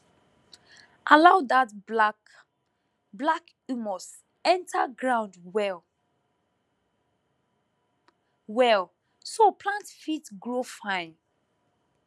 allow dat black black humus enter ground well well so plants fit grow fine